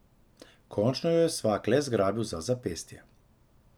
Končno jo je svak le zgrabil za zapestje.